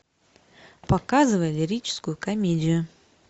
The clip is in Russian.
показывай лирическую комедию